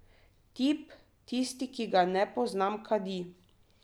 Tip, tisti, ki ga ne poznam, kadi.